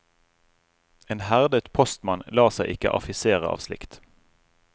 En herdet postmann lar seg ikke affisere av slikt.